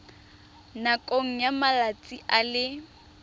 nakong ya malatsi a le